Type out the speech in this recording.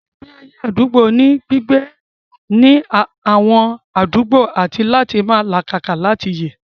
Ìgbé ayé àdúgbò ní gbígbé ní àwọn àdúgbò àti láti máa làkàkà láti yè